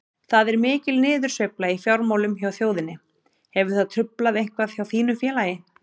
Það er mikil niðursveifla í fjármálum hjá þjóðinni, hefur það truflað eitthvað hjá þínu félagi?